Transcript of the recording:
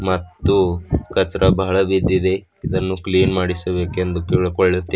ಮತ್ತು ಕಚ್ರ ಬಹಳ ಬಿದ್ದಿದೆ ಇದನ್ನು ಕ್ಲೀನ್ ಮಾಡಿಸಬೇಕೆಂದು ಕೇಳಿಕೊಳ್ಳುತ್ತೇ--